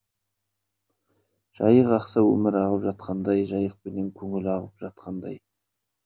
жайық ақса өмір ағып жатқандай жайықпенен көңіл ағып жатқандай